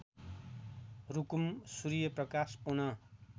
Rukum Suryaprakash Pun